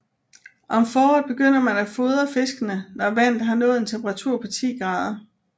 Om foråret begynder man at fordre fiskene når vandet har nået en temperatur på 10 grader